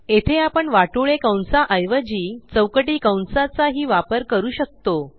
येथे आपण वाटोळे कंसा ऐवजी चौकटी कंसाचा ही वापर करू शकतो